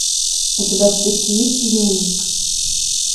у тебя в списке есть измена